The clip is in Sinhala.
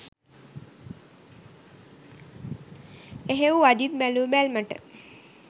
එහෙව් අජිත් බැලූ බැල්මට